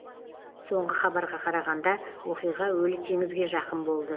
соңғы хабарға қарағанда оқиға өлі теңізге жақын болды